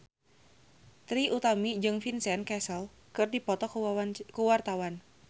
Trie Utami jeung Vincent Cassel keur dipoto ku wartawan